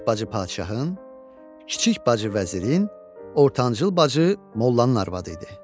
Böyük bacı padşahın, kiçik bacı vəzirin, ortancıl bacı mollanın arvadı idi.